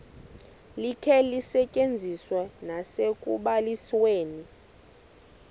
likhe lisetyenziswe nasekubalisweni